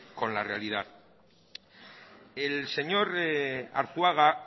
con la realidad el señor arzuaga